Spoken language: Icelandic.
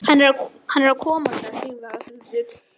Kolbeinsstöðum til að verða viðstaddir hreppskilin á morgun.